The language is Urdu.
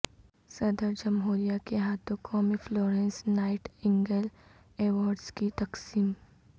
صدر جمہوریہ کے ہاتھوں قومی فلورنس نائٹ انگیل ایوارڈس کی تقسم